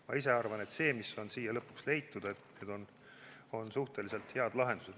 Ma ise arvan, et need, mis on siia lõpuks leitud, on suhteliselt head lahendused.